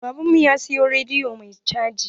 Baban mu ya siyo rediyo mai caji.